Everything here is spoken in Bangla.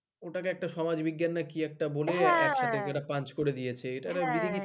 ওটাকে একটা সমাজবিজ্ঞান কি একটা বলে হ্যাঁ কিছু একটা punch করে দিয়েছে এটা একটা বিড়ি বিছিরি হ্যাঁ হয়ে গেছে